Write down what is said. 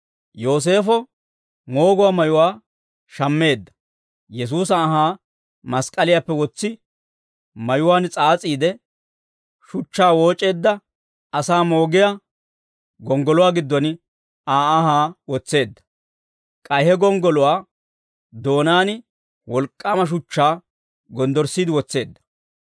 Yooseefo mooguwaa mayuwaa shammeedda; Yesuusa anhaa mask'k'aliyaappe wotsi mayuwaan s'aas'iide, shuchchaa wooc'eedda asaa moogiyaa gonggoluwaa giddon Aa anhaa wotseedda; k'ay he gonggoluwaa doonaan wolk'k'aama shuchchaa gonddorssiide wotseedda.